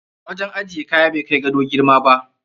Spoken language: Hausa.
Wajen ajiye kaya bai kai gado girma ba.